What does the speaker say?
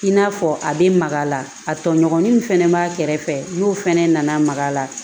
I n'a fɔ a bɛ maga a la a tɔɲɔgɔnin min fɛnɛ b'a kɛrɛfɛ n'u fana nana maga la